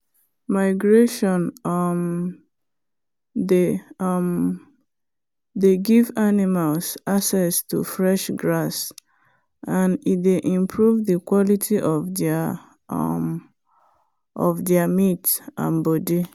migration um dey um give animals access to fresh grass and e dey improve the quality of there um meat and body.